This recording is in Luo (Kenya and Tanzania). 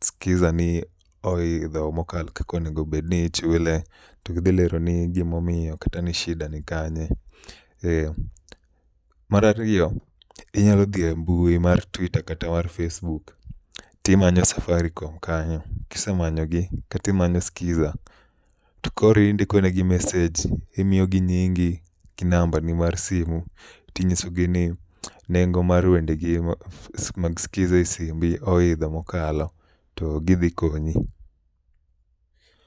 Skiza ni oidho mokalo kakonego bedni ichule. To gidhi leroni gimomiyo kata ni shida ni kanye. Marariyo, inyalo dhi e mbui mar Twita kata mar facebook timanyo Safaricom kanyo. Kisemanyogi, katimanyo Skiza, to koro indikone gi mesej. Imiyogi nyingi gi namba ni mar simu ting'isogi ni nengo mar wendegi mag Skiza e simbi oidho mokalo. To gidhi konyi.